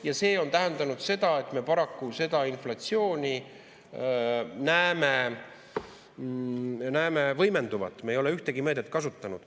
Ja see on tähendanud, et me paraku näeme inflatsiooni võimenduvat, me ei ole ühtegi meedet kasutanud.